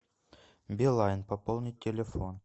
билайн пополнить телефон